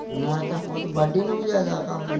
ਹਾਂ ਤਾਂ ਉਹ ਤਾਂ ਨੂੰ ਵੀ ਜਿਆਦਾ ਕੰਮ